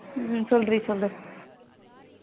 ஹம் சொல்லு டி சொல்லு டி